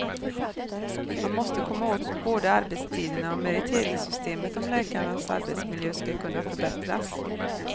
Man måste komma åt både arbetstiderna och meriteringssystemet om läkarnas arbetsmiljö ska kunna förbättras.